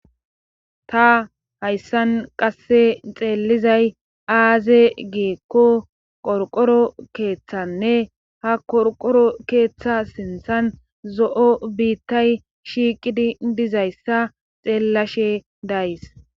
ta hayssan qasse xeelizay aaze giikko qorqoro keeththanne ha qorqoro keeththa sinthan zo'o biittay shiiqidi dizayssa xeellashe days.